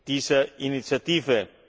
dieser Initiative.